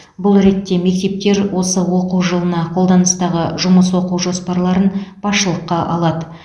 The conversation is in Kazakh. бұл ретте мектептер осы оқу жылында қолданыстағы жұмыс оқу жоспарларын басшылыққа алады